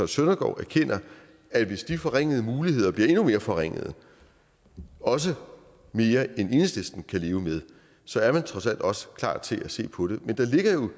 søndergaard erkender at hvis de forringede muligheder bliver endnu mere forringede også mere end enhedslisten kan leve med så er man trods alt også klar til at se på det men der ligger jo